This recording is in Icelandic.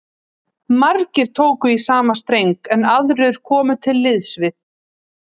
Margir tóku í sama streng, en aðrir komu til liðs við